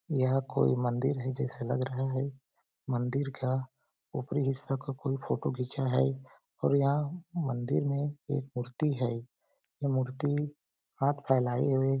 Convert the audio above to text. यह कोई मंदिर है जैसे लग रहा है मंदिर का ऊपरी हिस्सा का कोई फोटो खींचा है और यह मंदिर में एक मूर्ति है यह मूर्ति हाथ फैलाए हुए --